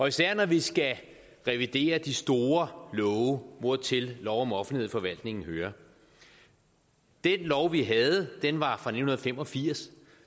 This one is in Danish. især når vi skal revidere de store love hvortil lov om offentlighed i forvaltningen hører den lov vi havde var fra nitten fem og firs